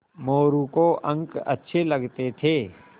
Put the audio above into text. मोरू को अंक अच्छे लगते थे